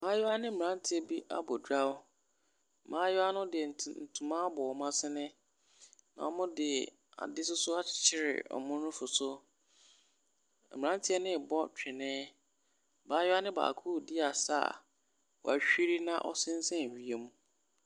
Mmaayaa ne mmranteɛ bi abɔ dwaw. Mmaayaa no de ntoma abɔ wɔn asene, na wɔde ade nso akyekyere wɔn nufu so. Mmranteɛ no rebɔ twene. Abaayaa no baako redi asa a wahuri na ɔsensɛn wiem.